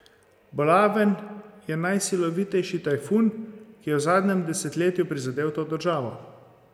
Bolaven je najsilovitejši tajfun, ki je v zadnjem desetletju prizadel to državo.